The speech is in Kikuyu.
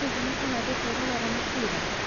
Hihi nĩ tũgathiĩ kwĩrorera mũbira?